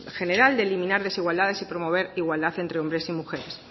general de eliminar desigualdades y promover igualdad entre hombres y mujeres